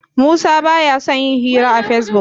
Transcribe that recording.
Musa ba ya son yin hira a Facebook.